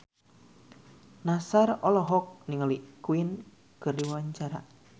Nassar olohok ningali Queen keur diwawancara